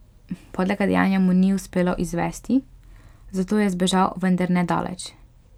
Podlega dejanja mu ni uspelo izvesti, zato je zbežal, vendar ne daleč.